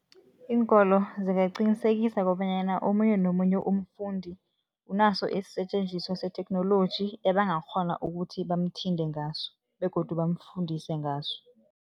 Iinkolo zikangaqinisekisa kobanyana omunye nomunye umfundi unaso isisetjenziswa setheknoloji ebangakghona ukuthi bamthinte ngaso begodu bamfundise ngaso.